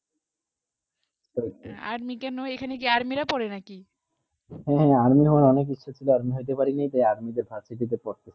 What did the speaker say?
army কা নয় এইখানে আর্মি রা পড়ে না কি হেঁ হেঁ আর্মি হবার অনেক ইচ্ছা ছিল আর্মি হতে পারি নি যে army university তে পড়ি